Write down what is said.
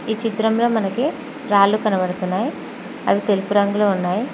ఈ చిత్రంలో మనకి రాళ్లు కనబడుతున్నాయి అవి తెలుపు రంగులో ఉన్నాయి.